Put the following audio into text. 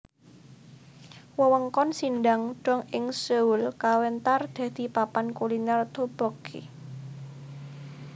Wewengkon Sindang dong ing Seoul kawentar dadi papan kuliner tteokbokki